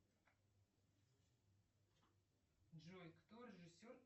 джой кто режиссер